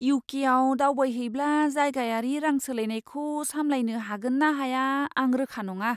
इउ.के.आव दावबायहैब्ला जायगायारि रां सोलायनायखौ सामलायनो हागोन ना हाया, आं रोखा नङा।